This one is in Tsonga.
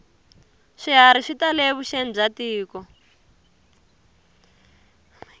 swiharhi swi tale evuxeni bya tiko